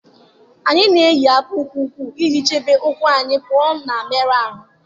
Anyị na-eyi akpụkpọ ụkwụ iji chebe ụkwụ anyị pụọ na mmerụ ahụ